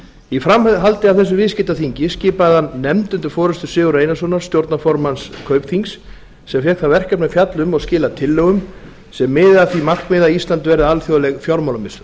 í framhaldi á þessu viðskiptaþingi skipaði hann nefnd undir forustu sigurðar einarssonar stjórnarformanns kaupþings sem fékk það verkefni að fjalla um og skila tillögum sem miða að því markmiði að ísland verði alþjóðleg fjármálamiðstöð